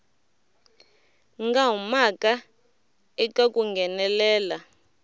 nga humaka eka ku nghenelela